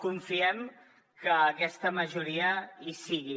confiem que aquesta majoria hi sigui